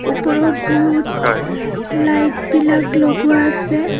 ওপৰত বুহুত লাইট বিলাক লগোৱা আছে.